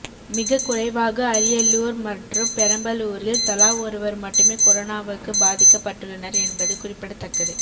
மிக குறைவாக அரியலூர் மற்றும் பெரம்பலூரில் தலா ஒருவர் மட்டுமே கொரோனாவுக்கு பாதிக்கப்பட்டுள்ளனர் என்பது குறிப்பிடத்தக்கது